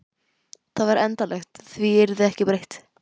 Það væri endanlegt, því yrði ekki breytt.